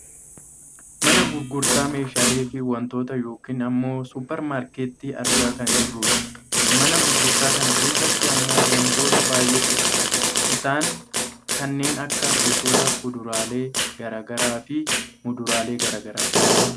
mana gurgurtaa meeshaalee fi wantootaa yookaan ammoo supper maarkettii argaa kan jirrudha. mana gurgurtaa kana keessatti ammoo wantoota baayyeetu argama, isaani kanneen akka gosoota kuduraalee gara garaafi muduraalee gara garaati.